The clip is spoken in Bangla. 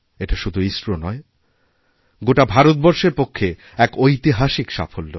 এটা শুধু ইসরো নয় গোটা ভারতবর্ষের পক্ষে এক ঐতিহাসিক সাফল্য